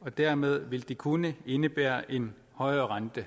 og dermed vil det kunne indebære en højere rente